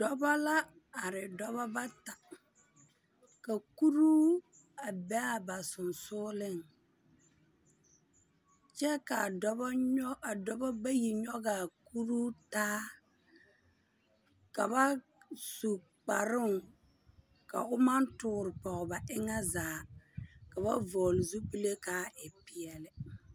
Dɔbɔ la are dɔbɔ bata ka kuruu a be a ba sonsogeleŋ. Kyɛ ka adɔbɔ nyɔ… a dɔbɔ bayi nyɔge a kuruu taa. Ka bas u kparoŋ ka o maŋ tore pɔge ba eŋɛ zaa. Ka ba vɔgele zupile ka a e peɛlɛ.